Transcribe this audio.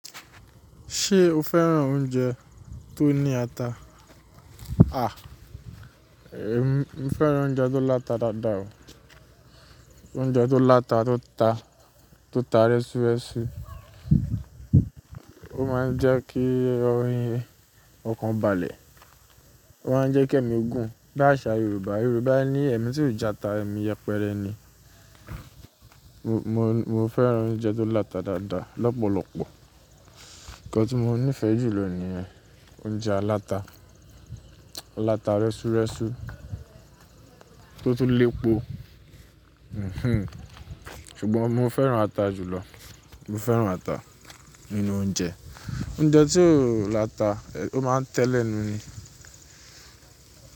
Ṣé o fẹ́ràn oúnjẹ tó ní ata? A! Ehn, mo fẹ́ràn oúnjẹ tó láta dáadáa o. Oúnjẹ tó láta tó ta, tó ta rẹ́súrẹ́sú. Ó máa ń jẹ́ kí oriíì ọ̀kan balẹ̀. Ó máa ń jẹ́ kí èmi gùn. Bí àṣá Yorùbá, Yorùbá ní "Èmi tí ò jata, èmi yẹpẹrẹ ni". Mo, mo fẹ́ràn oúnjẹ tó láta dáadáa lọ́pọ̀lọpọ̀. Nńkan tí mo nífẹ̀ẹ́ jù lọ nìyen oúnjẹ aláta. Áláta rẹ́súrẹ́sú tó tún lépo. Hmm. Ṣùgbọ́n mo fẹ́ràn ata jùlọ. Mo fẹ́ràn ata nínú oúnjẹ. Oúnjẹ tí kò láta, ó máa ń tẹ́lẹ̀nu ni.